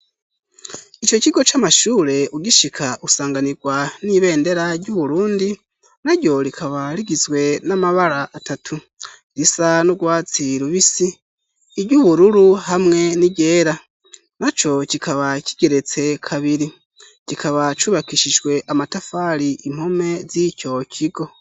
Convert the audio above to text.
Ico kigo c'amashure ugishika usanganirwa n'ibendera ry'uburundi na ryo rikaba rigizwe n'amabara atatu risa n'urwatsirubisi iryo ubururu hamwe n'igera na co kikaba kigeretse kabiri kikaba cubakishijwe amatafari impome we zicokigo.